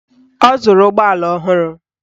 Ọ zụrụ ụgbọala ọhụrụ